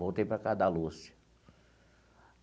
Voltei para a casa da Lúcia.